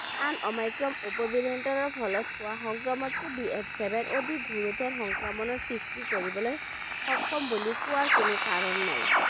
আন Omicron উপ variant ৰ ফলত হোৱা সংক্ৰমণটো BF seven অধিক গুৰুত্ব সংক্ৰমণৰ সৃষ্টি কৰিবলৈ সক্ষম বুলি কোৱাৰ কোনো কাৰণ নাই।